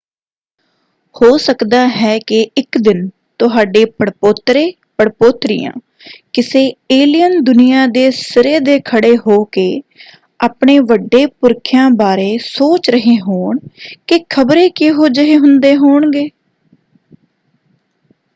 ਹੋ ਸਕਦਾ ਹੈ ਕਿ ਇੱਕ ਦਿਨ ਤੁਹਾਡੇ ਪੜਪੋਤਰੇ/ਪੜਪੋਤਰੀਆਂ ਕਿਸੇ ਏਲੀਅਨ ਦੁਨੀਆ ਦੇ ਸਿਰੇ ਦੇ ਖੜ੍ਹੇ ਹੋ ਕੇ ਆਪਣੇ ਵੱਡੇ ਪੁਰਖਿਆਂ ਬਾਰੇ ਸੋਚ ਰਹੇ ਹੋਣ ਕਿ ਖ਼ਬਰੇ ਕਿਹੋ ਜਿਹੇ ਹੁੰਦੇ ਹੋਣਗੇ?